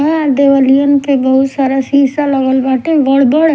देवलीयन के बहुत सारा सीसा लगल बाटे बढ़ बढ़--